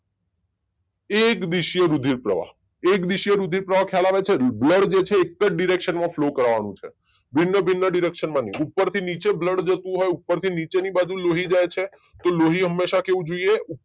એક દીશીએ રુધિર પ્રવાહ. એક દીશીએ રુધિર પ્રવાહ ખયાલ આવે છે? બ્લડ જે છે એક જ ડીરેક્શન માં ફ્લો કરાવાનો છે ભિન્ન ભિન્ન દીરેક્શનમાં નહી ઉપરથી નીચે બ્લડ જતું હોય ઉપરથી નીચેની બાજુ લહું જાય છે કે લોહી હમેશા કે જોઈએ?